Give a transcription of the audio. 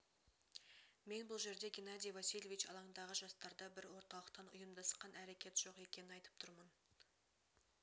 мен бұл жерде геннадий васильевич алаңдағы жастарда бір орталықтан ұйамдасқан әрекет жоқ екенін айтып тұрмын